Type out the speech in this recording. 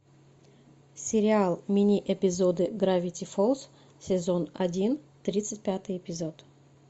сериал мини эпизоды гравити фолз сезон один тридцать пятый эпизод